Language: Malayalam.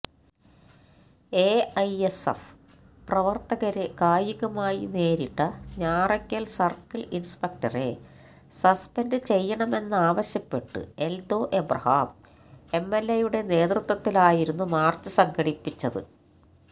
എഐഎസ്എഫ് പ്രവർത്തകരെ കായികമായി നേരിട്ട ഞാറയ്ക്കൽ സർക്കിൾ ഇൻസ്പെക്ടറെ സസ്പെൻഡ് ചെയ്യണമെന്നാവശ്യപ്പെട്ട് എൽദോ എബ്രഹാം എംഎൽഎയുടെ നേതൃത്വത്തിലായിരുന്നു മാർച്ച് സംഘടിപ്പിച്ചത്